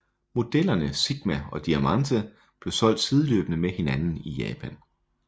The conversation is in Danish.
Modellerne Sigma og Diamante blev solgt sideløbende med hinanden i Japan